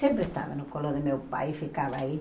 Sempre estava no colo do meu pai e ficava aí.